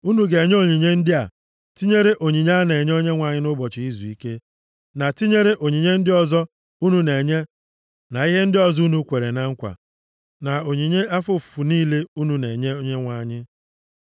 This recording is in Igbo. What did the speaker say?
Unu ga-enye onyinye ndị a, tinyere onyinye a na-enye Onyenwe anyị nʼụbọchị izuike, na tinyere onyinye ndị ọzọ unu na-enye na ihe ndị ọzọ unu kwere na nkwa, na onyinye afọ ofufu niile unu na-enye Onyenwe anyị.)